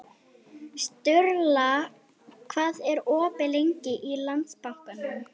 Sturla, hvað er opið lengi í Landsbankanum?